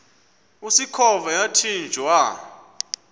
usikhova yathinjw a